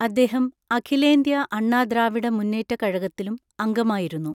അദ്ദേഹം അഖിലേന്ത്യാ അണ്ണാ ദ്രാവിഡ മുന്നേറ്റ കഴകത്തിലും അംഗമായിരുന്നു.